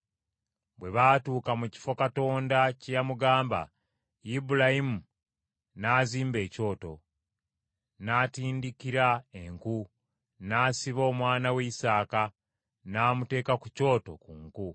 Bwe baatuuka mu kifo Katonda kye yamugamba, Ibulayimu n’azimba ekyoto, n’atindikira enku, n’asiba omwana we Isaaka, n’amuteeka ku kyoto ku nku.